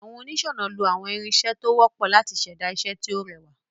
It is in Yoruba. Àwon onísònà lo àwon irinsé to wópò láti sèda isé ti o rewà